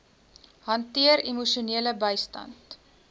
hanteer emosionele bystand